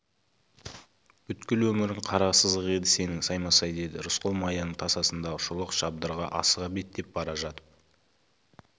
бүткіл өмірің қара сызық еді сенің саймасай деді рысқұл маяның тасасындағы шолақ шабдарға асыға беттеп бара жатып